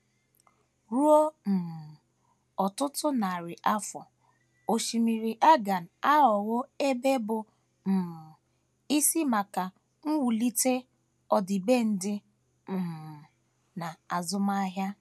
Ruo um ọtụtụ narị afọ, Osimiri Aegean aghọwo ebe bụ́ um isi maka mwulite ọdịbendị um na azụmahia.